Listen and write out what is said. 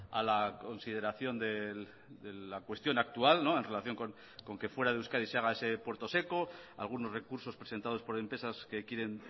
a la consideración de la cuestión actual en relación con que fuera de euskadi se haga ese puerto seco algunos recursos presentados por empresas que quieren